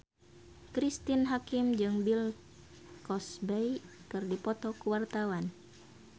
Cristine Hakim jeung Bill Cosby keur dipoto ku wartawan